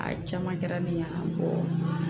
A caman kɛra ne ɲɛna